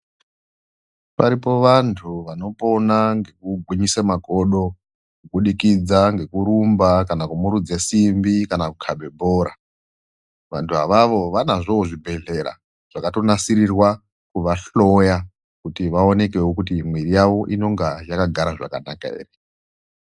Varipo vantu vanopona nekugwinyise magodho, kubudikudza ngekurumba, kana kumhurudze simbi, kana kukhave bhora. Vantwavavo vanozvowo zvibhedhlela zvakatonasirirwa kuvahloya kuti vaoneke kuti mwiri yavo inonga yakagara zvakanaka here.